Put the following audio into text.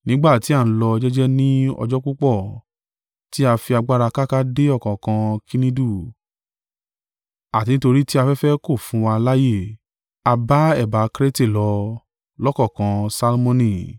Nígbà tí a ń lọ jẹ́jẹ́ ní ọjọ́ púpọ̀, ti a fi agbára káká dé ọ̀kánkán Knidu, àti nítorí tí afẹ́fẹ́ kò fún wa láààyè, a ba ẹ̀bá Krete lọ, lọ́kankán Salmoni.